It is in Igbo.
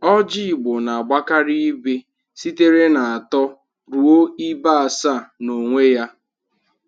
Ọjị Igbo na-agbakarị ibe sitere n'atọ ruo ibe asaa n'onwe ya.